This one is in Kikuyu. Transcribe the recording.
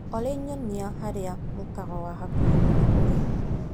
Olĩ nyonia harĩa mũkawa wa hakuhĩ mũno ũrĩ.